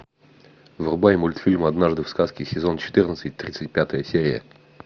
врубай мультфильм однажды в сказке сезон четырнадцать тридцать пятая серия